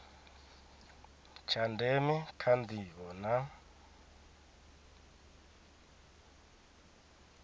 tsha ndeme kha ndivho na